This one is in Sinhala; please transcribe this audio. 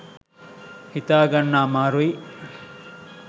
හිතාගන්න අමාරුයි.